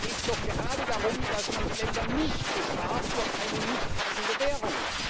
Außerdem geht es doch gerade darum, dass man die Länder nicht bestraft durch eine nicht passende Währung.